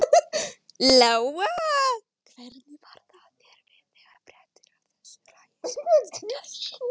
Lóa: Hvernig varð þér við þegar fréttir af þessu hræi sem fannst í gær?